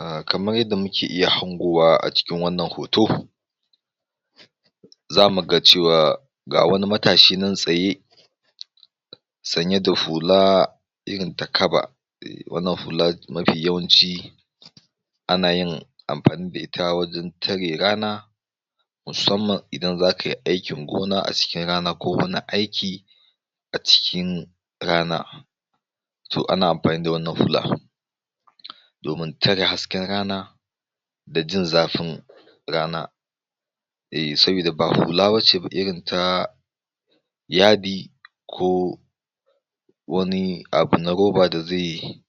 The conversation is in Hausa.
ah kamar yadda muke iya hangowa a cikin wannan hoto za mu ga cewa ga wani matashi nan tsaye sanye da hula irin ta kaba, irin wannan fila mafi yawanci ana yin amfani da ita wajen tare rana musamman idan za kai aikin gona a cikin rana ko wani aiki a cikin rana to ana amfani da wannan fila. domin tare hasken rana, da jin zafin rana eh sabida ba hula bace irinta yadi ko.. wani abu na roba da zai